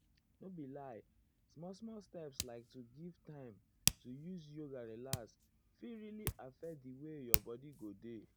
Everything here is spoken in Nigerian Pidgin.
nor be lie small small steps like to give time to use yoga relax fit really um affect di way your bodi go dey.